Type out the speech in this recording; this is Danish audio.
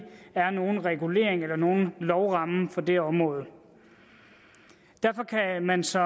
er nogen regulering eller nogen lovramme for det område derfor kan man som